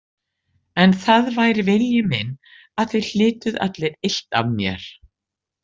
En það væri vilji minn að þið hlytuð allir illt af mér.